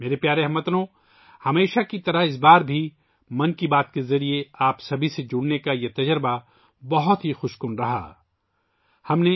میرے پیارے ہم وطنو، ہمیشہ کی طرح اس بار بھی 'من کی بات' کے ذریعے آپ سب کے ساتھ جڑنا ایک بہت ہی خوشگوار تجربہ رہا